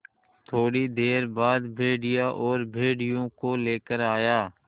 थोड़ी देर बाद भेड़िया और भेड़ियों को लेकर आया